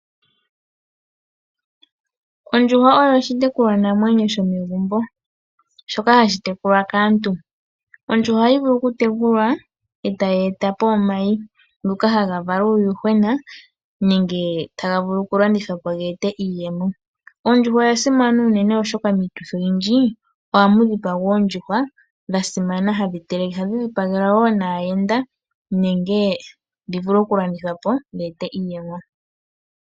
Ondjuhwa oyo oshitekulwa namwenyo shomegumbo shoka hashi tekulwa kaantu. Ondjuhwa ohayi vulu oku tekulwa eta yi eta po omayi, ngoka haga vala uuyuhwena nenge hava vulu okulandithwa po geete iiyemo. Ondjuhwa oya simana unene oshoka miituthi oyindji ohamu dhipagwa oondjuhwa dhaayenda, dho ohadhi vulu woo oku landithwa dhi ete iiyemo.